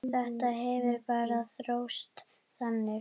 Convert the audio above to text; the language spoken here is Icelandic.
Þetta hefur bara þróast þannig.